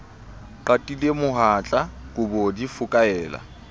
qatile mohatla kobo di fokaela